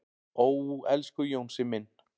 """Ó, elsku Jónsi minn."""